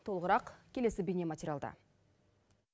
толығырақ келесі бейнематериялда